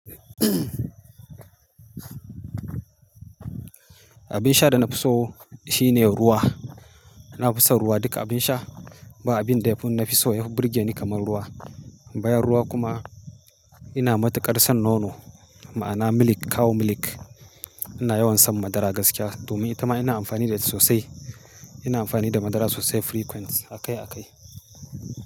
Abin sha da na fi so shine ruwa. Na fi son ruwa. Duka abin sha ba abin da ya fi na fi so ya fi birge ni kamar ruwa. Bayan ruwa kuma ina matuƙar son nono, ma'ana milk, cow milk. Ina yawan shan madara gaskiya domin ita ma ina amfani da sosai. Ina amfani da madara sosai frequent, akai akai.